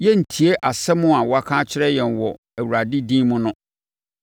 “Yɛrentie asɛm a waka akyerɛ yɛn wɔ Awurade din mu no!